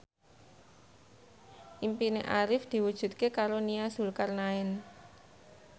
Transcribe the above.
impine Arif diwujudke karo Nia Zulkarnaen